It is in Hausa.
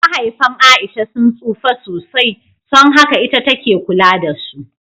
Mahaifan A'isha sun tsufa sosai, son haka ita take kula da su.